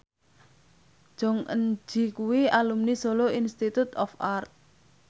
Jong Eun Ji kuwi alumni Solo Institute of Art